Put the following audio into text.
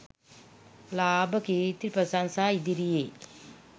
ලාභ, කීර්ති, ප්‍රශංසා, ඉදිරියේ